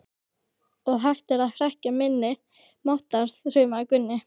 Og hættir að hrekkja minni máttar, þrumaði Gunni.